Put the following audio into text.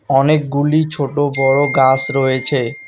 অনেকগুলি ছোট বড় গাস রয়েছে।